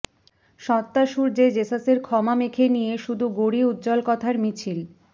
সত্তাসূর্যে যেসাসের ক্ষমা মেখে নিয়ে শুধু গড়ি উজ্জ্বল কথার মিছিল